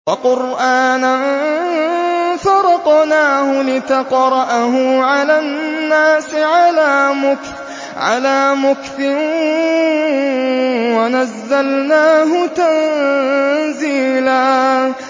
وَقُرْآنًا فَرَقْنَاهُ لِتَقْرَأَهُ عَلَى النَّاسِ عَلَىٰ مُكْثٍ وَنَزَّلْنَاهُ تَنزِيلًا